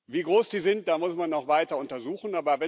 Wie groß die sind, das muss man noch weiter untersuchen.